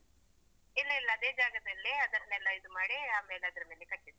ಇಲ್ಲ ಇಲ್ಲ ಅದೆ ಜಾಗದಲ್ಲಿ ಅದನ್ನೆಲ್ಲ ಇದು ಮಾಡಿ ಆಮೇಲೆ ಅದ್ರ ಮೇಲೆ ಕಟ್ಟಿದ್ದು.